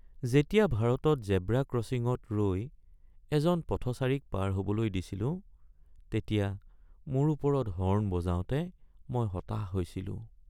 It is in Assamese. যেতিয়া ভাৰতত জেব্ৰা ক্ৰ'ছিঙত ৰৈ এজন পথচাৰীক পাৰ হ'বলৈ দিছিলো তেতিয়া মোৰ ওপৰত হৰ্ণ বজাওঁতে মই হতাশ হৈছিলো।